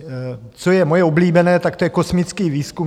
Co je moje oblíbené, tak to je kosmický výzkum.